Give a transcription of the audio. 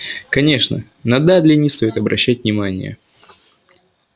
конечно на дадли не стоит обращать внимание